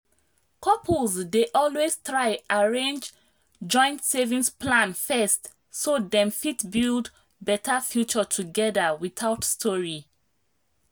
couples dey always try arrange joint savings plan first so dem fit build better future together without story.